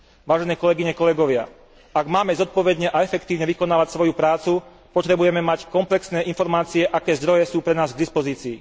Vážené kolegyne, kolegovia, ak máme zodpovedne a efektívne vykonávať svoju prácu, potrebujeme mať komplexné informácie, aké zdroje sú pre nás k dispozícii.